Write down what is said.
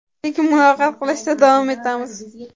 lekin muloqot qilishda davom etamiz.